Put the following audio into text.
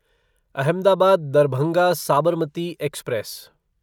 Ahmedabad Darbhanga Sabarmati express